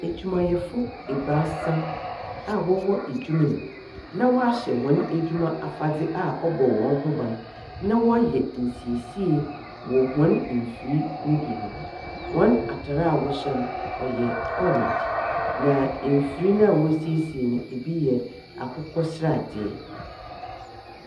Edwumayɛfo ebaasa aa wɔwɔ edwuma mu na wahyɛ hɔn edwuma afadze aa ɔbɔ wɔn ho ban na wayɛ nsiesie wɔ hɔn mfri no bi ho wɔn atar a wɔhyɛ no ɔyɛ ɔrengye na mfir na wasiesie no ebi yɛ akokɔ sradeɛ.